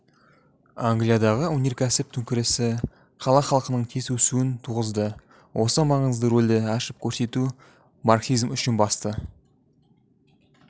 англиядағы өнеркәсіп төңкерісі қала халқының тез өсуін туғызды осы маңызды ролді ашып көрсету марксизм үшін басты